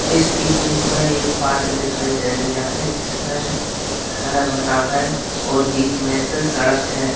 इस इमेज में एक पार्क दिखाई दे रहा है जिसमें हरा-भरा है और बीच में से सड़क है।